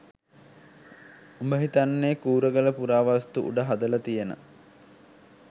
උඹ හිතන්නේ කූරගල පුරාවස්තු උඩ හදල තියෙන